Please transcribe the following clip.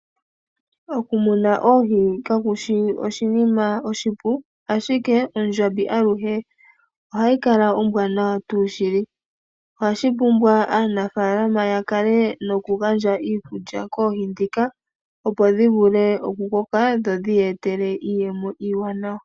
Okumuna oohi kakushi oshinima oshipu ashike ondjambi aluhe ohayi kala ombwanawa shili ohashi pumbwa aanafalama ya kale noku gandja iikulya koohi ndhika opo dhi vule oku koka dho dhi ye etele iiyemo iiwanawa.